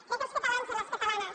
crec que els catalans i les catalanes